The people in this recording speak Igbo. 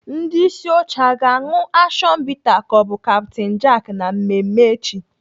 Ndị isi oche a ga-aṅụ action bitter ka ọ bụ Captain Jack na mmemme echi?